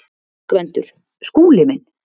GVENDUR: Skúli minn!